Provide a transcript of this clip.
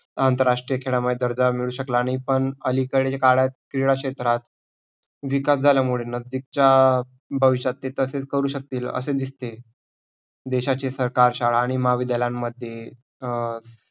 आंतरराष्ट्रीय खेळामध्ये दर्जा मिळू शकला आणि पण अलीकडे काळातील क्षेत्रात विकास झाल्यामुळे नजदिकचा भविष्यात ते तसे करू शकतील असे दिसते. देशाचे सरकार शाळा आणि महाविद्यालयामध्ये अं